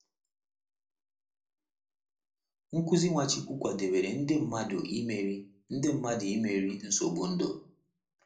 Nkuzi Nwachukwu kwadebere ndị mmadụ imeri ndị mmadụ imeri nsogbu ndụ.